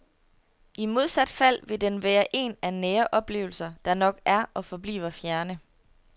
I modsat fald vil den være en af nære oplevelser, der nok er og forbliver fjerne.